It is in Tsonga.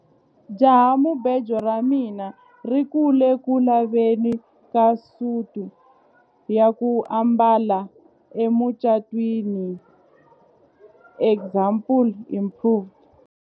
Jahamubejo ra mina ri ku le ku laveni ka suti ya ku ambala emucatwini example improved.